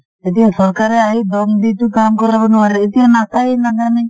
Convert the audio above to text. এতিয়া চৰকাৰে আহি দম দি টো কাম কৰাব নোৱাৰে , এতিয়া নাচাই নাজানে